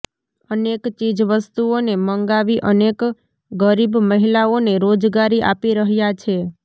અનેક ચીજવસ્તુઓને મંગાવી અનેક ગરીબ મહિલાઓને રોજગારી આપી રહ્યા છે